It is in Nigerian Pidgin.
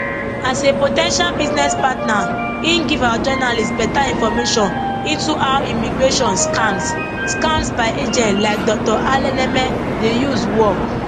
as a po ten tial business partner im give our journalist beta information into how immigration scams scams by agents like dr alaneme dey use work